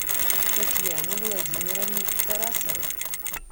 татьяне владимировне тарасовой